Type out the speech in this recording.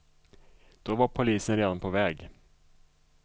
Då var polisen redan på väg.